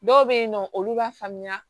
Dɔw bɛ yen nɔ olu b'a faamuya